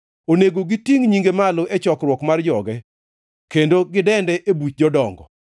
Onego gitingʼ nyinge malo e chokruok mar joge kendo gidende e buch jodongo.